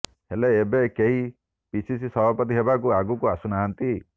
ହେଲେ ଏବେ କେହି ପିସିସି ସଭାପତି ହେବାକୁ ଆଗକୁ ଆସୁନାହାନ୍ତି